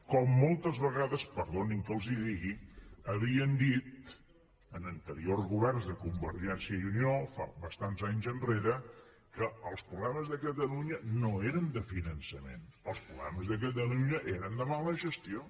com moltes vegades perdonin que els ho digui havien dit en anteriors governs de convergència i unió fa bastants anys enrere que els problemes de catalunya no eren de finançament els problemes de catalunya eren de mala gestió